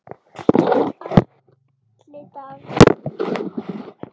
Atli Dagur.